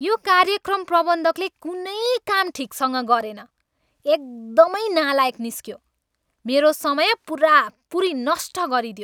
यो कार्यक्रम प्रबन्धकले कुनै काम ठिकसँग गरेन। एकदमै नालायक निस्कियो। मेरो समय पुरापुरी नष्ट गरिदियो।